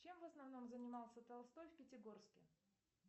чем в основном занимался толстой в пятигорске